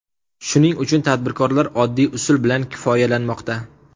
Shuning uchun tadbirkorlar oddiy usul bilan kifoyalanmoqda.